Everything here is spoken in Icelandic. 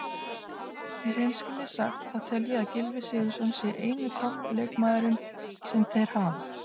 Í hreinskilni sagt þá tel ég að Gylfi Sigurðsson sé eini toppleikmaðurinn sem þeir hafa.